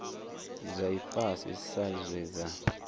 dza ifhasi sa zwe dza